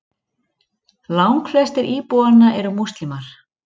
Langflestir íbúanna eru múslímar.